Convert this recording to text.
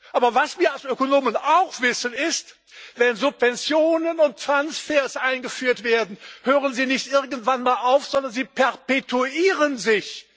Aber was wir als Ökonomen auch wissen, ist Wenn Subventionen und Transfers eingeführt werden, hören sie nicht irgendwann mal auf, sondern sie perpetuieren sich!